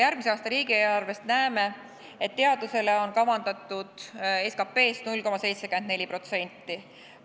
Järgmise aasta riigieelarvest näeme, et teadusele on kavandatud SKP-st 0,74%.